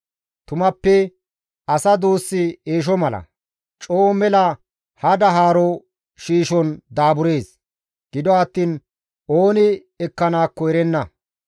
Tumappe asa duussi eesho mala; coo mela hada haaro shiishon daaburees; gido attiin ooni ekkanaakko erenna.